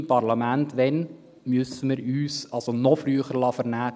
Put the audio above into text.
Wann müssen wir uns hier im Parlament noch früher vernehmen lassen?